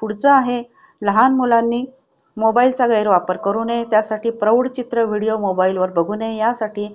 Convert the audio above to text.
पुढचा आहे लहान मुलांनी mobile चा गैरवापर करू नये त्यासाठी प्रौढचित्र video mobile वर बघू नये यासाठी